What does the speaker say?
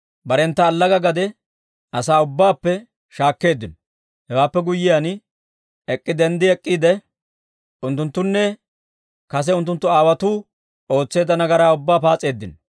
Barentta allaga gade asaa ubbaappe shaakkeeddino. Hewaappe guyyiyaan denddi ek'k'iide, unttunttune kase unttunttu aawotuu ootseedda nagaraa ubbaa paas'eeddino.